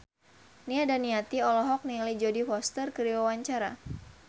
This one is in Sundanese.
Nia Daniati olohok ningali Jodie Foster keur diwawancara